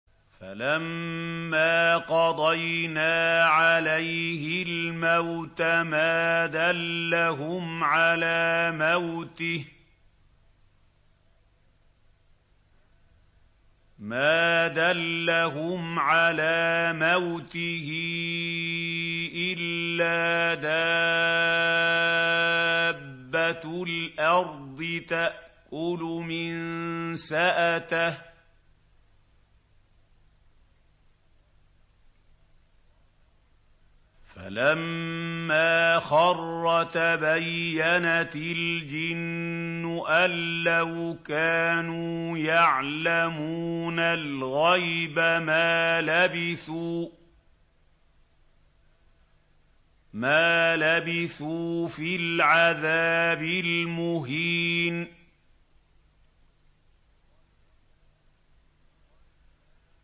فَلَمَّا قَضَيْنَا عَلَيْهِ الْمَوْتَ مَا دَلَّهُمْ عَلَىٰ مَوْتِهِ إِلَّا دَابَّةُ الْأَرْضِ تَأْكُلُ مِنسَأَتَهُ ۖ فَلَمَّا خَرَّ تَبَيَّنَتِ الْجِنُّ أَن لَّوْ كَانُوا يَعْلَمُونَ الْغَيْبَ مَا لَبِثُوا فِي الْعَذَابِ الْمُهِينِ